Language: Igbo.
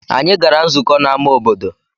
Anyị gara nzukọ n'ámá obodo.